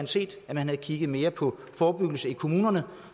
set at man havde kigget mere på forebyggelse i kommunerne